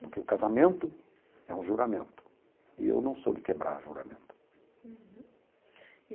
Porque o casamento é um juramento, e eu não sou de quebrar juramento. Uhum.